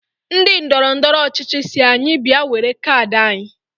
Ndị ndọrọndọrọ ọchịchị si anyi bịa were kaadị anyị